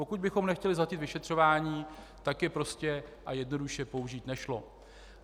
Pokud bychom nechtěli zhatit vyšetřování, tak je prostě a jednoduše použít nešlo.